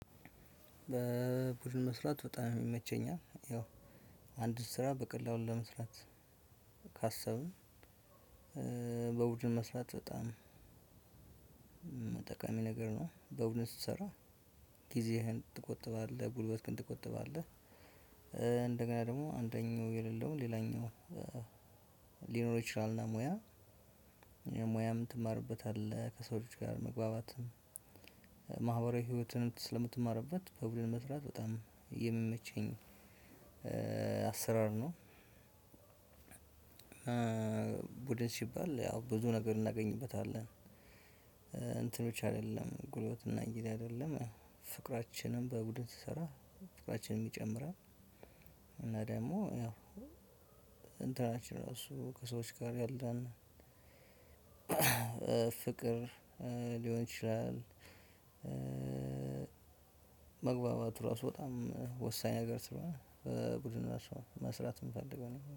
በቡድን መስራት በጣም ይመቸኛል። ያው አንድ ስራ በቀላሉ ለመስራት ካሰብን እ በቡድን መስራት በጣም መ ጠቃሚ ነገር ነው። በቡድን ስትሰራ ጊዜህን ትቆጥባለህ ጉልበትህን ትቆጥባለህ። እ እንደገና ደግሞ አንደኛው የሌለው ሌላኛው እ ሊኖረው ይችላል እና ሙያ እ ሙያም ትማርበታለህ ከሰው ልጅ ጋር መግባባትም። ማህበራዊ ህይወትንም ስለምትማርበት በቡድን መስራት በጣም የሚመቸኝ እ አሰራር ነው። እ ቡድን ሲባል ያው ብዙ ነገር እናገኝበታለን። እ እንትኖች አይደለም ጉልበትና እንግዲህ አይደለም ፍቅራችንን በቡድን ስንሰራ ፍቅራችንም ይጨምራል። እና ደግሞ እ እንትናችን ራሱ ከሰዎች ጋር ያለን እ ፍቅር ሊሆን ይችላል። እ መግባባቱ ራሱ በጣም ወሳኝ ነገር ስለሆነ እ ቡድን መስራት የምፈልገው ነገር ነው